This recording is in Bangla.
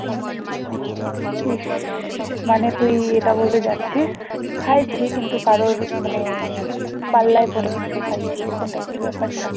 খাইছি কিন্তু কারোর মানে পাল্লায় পড়ে খাইছি এরকম type ব্যাপারটা